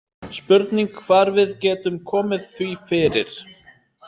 Spurning hvar við getum komið því fyrir